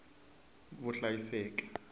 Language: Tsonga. vuhlayiseki